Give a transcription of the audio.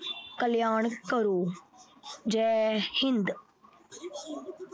ਕਲਿਆਣ ਕਰੋ। ਜੈ ਹਿੰਦ।